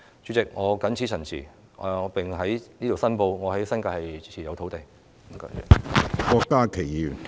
主席，我謹此陳辭，並在此申報，我在新界持有土地。